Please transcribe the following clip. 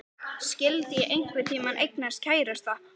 Skyldi ég einhvern tíma eignast kærasta?